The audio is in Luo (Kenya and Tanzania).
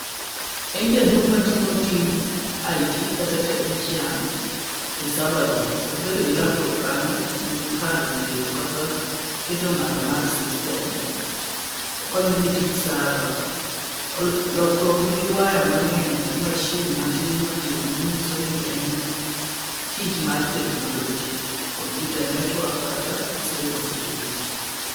En jaduong' ma timo tij IT kata technician e server room. Obedo gi laptop kanyo en kar rieyo kata keto ng'ado mar system. Okonyo gi tij server .Lokruok gi waya mang'eny gi mashin matin matin manyiso ni en tich mar technology, computer network kata cyber security.